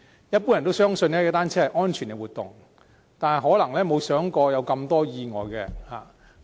一般人相信，踏單車是安全的活動，但可能沒有想過會發生這麼多意外。